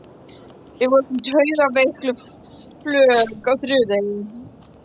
Við vorum taugaveikluð flök á þriðja degi.